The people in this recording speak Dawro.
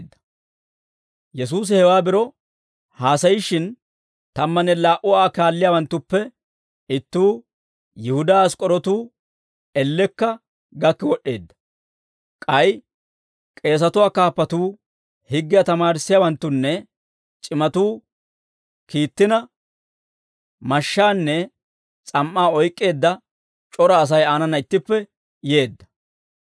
Yesuusi hewaa biro haasayishshin, tammanne laa"u Aa kaalliyaawanttuppe ittuu, Yihudaa Ask'k'orootu, ellekka gakki wod'd'eedda; k'ay k'eesatuwaa kaappatuu higgiyaa tamaarissiyaawanttunne c'imatuu kiittina, mashshaanne s'am"aa oyk'k'eedda c'ora Asay aanana ittippe yeedda.